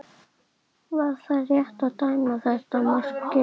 Var það rétt að dæma þetta mark gilt?